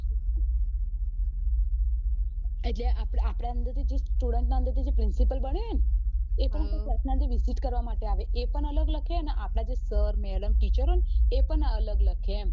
એટલે આપડા અંદર થી જે student ના અંદર થી જે principal બને હે visit કરવા માટે આવે એ પણ અલગ લખે અને આપડા જે sir madam teacher હોય એ પણ અલગ લખે એમ